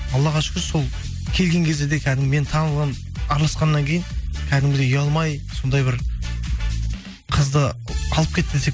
аллаға шүкір сол келген кезде де кәдім мен араласқаннан кейін кәдімгідей ұялмай сондай бір қызды алып кетті десек